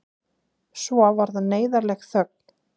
Svo varð neyðarleg þögn.